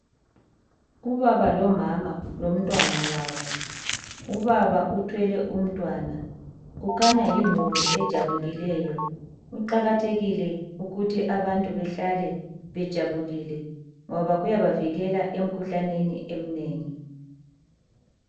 Ubaba lomama lomntwana wabo. Ubaba uthwele umntwana kukhanya yimuli ejabulileyo. Kuqakathekile ukuthi abantu behlale bejabulile ngoba kuyaba vikela emikhuhlaneni eminengi.